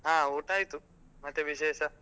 ಹ ಊಟ ಆಯ್ತು. ಮತ್ತೆ ವಿಶೇಷ?